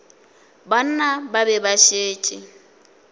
banna ba be ba šetše